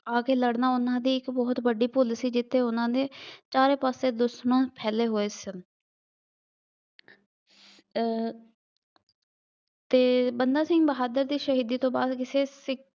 ਆ ਕੇ ਲੜਨਾ ਉਹਨਾ ਦੀ ਇੱਕ ਬਹੁਤ ਵੱਡੀ ਭੁੱਲ ਸੀ। ਜਿੱਥੇ ਉਹਨਾ ਦੇ ਚਾਰੇ ਪਾਸੇ ਦੁਸ਼ਮਣ ਫੈਲੇ ਹੋਏ ਸਨ ਅਹ ਅਤੇ ਬੰਦਾ ਸਿੰਘ ਬਹਾਦਰ ਦੀ ਸਹੀਦੀ ਤੋਂ ਬਾਅਦ ਸਿੱਖ